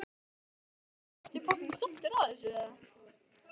Fréttamaður: Ertu stoltur af þessu?